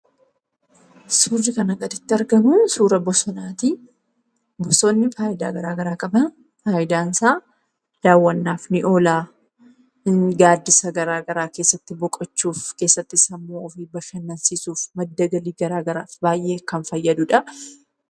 Suurri kana gaditti argamu suura bosonaati. Innis faayidaa garagaraa qaba. Faayidaan isaa daawwannaaf ni oola, gaaddisa gara garaa keessatti boqochuuf, keessatti sammuu ofii bashannansiisuuf madda galii garagaraati, baay'ee kan fayyadudha.